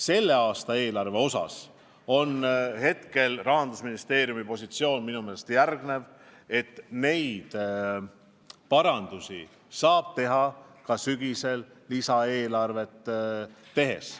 Selle aasta eelarve osas on Rahandusministeeriumi positsioon minu meelest see, et vajalikke parandusi saab teha ka sügisel lisaeelarvet koostades.